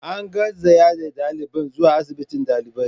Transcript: An garzaya da dalibin zuwa asibiti dalibai.